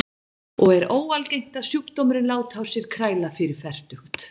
Tíðnin hækkar með aldrinum og er óalgengt að sjúkdómurinn láti á sér kræla fyrir fertugt.